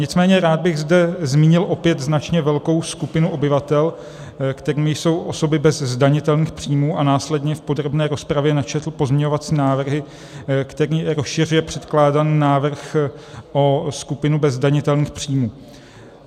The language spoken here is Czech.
Nicméně rád bych zde zmínil opět značně velkou skupinu obyvatel, kterou jsou osoby bez zdanitelných příjmů, a následně v podrobné rozpravě načetl pozměňovací návrh, který rozšiřuje předkládaný návrh o skupinu bez zdanitelných příjmů.